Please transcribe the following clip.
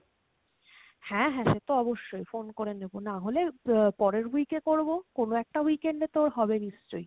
হ্যাঁ হ্যাঁ সে তো অবশ্যই, phone করে নেব নাহলে আহ পরের week এ করবো, কোনো একটা weekend এ তো ওর হবে নিশ্চয়।